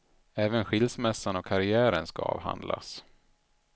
Även skilsmässan och karrären ska avhandlas.